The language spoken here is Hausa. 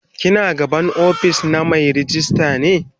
ki na gaban ofis na Mai ragista ne?